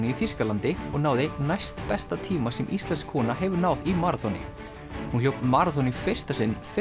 í Þýskalandi og náði næstbesta tíma sem íslensk kona hefur náð í maraþoni hún hljóp maraþon í fyrsta sinn fyrr